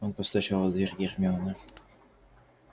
он постучал в дверь гермионы